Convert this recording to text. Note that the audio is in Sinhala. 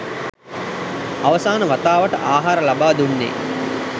අවසාන වතාවට ආහාර ලබා දුන්නේ